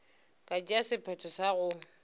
ka tšea sephetho sa go